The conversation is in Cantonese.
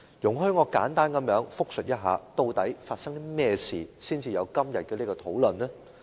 容許我簡單複述一下，究竟發生了甚麼事情，才會出現今天的討論。